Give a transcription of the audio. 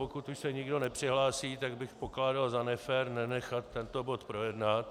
Pokud už se nikdo nepřihlásí, tak bych pokládal za nefér nenechat tento bod projednat.